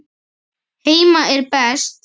Heima er best.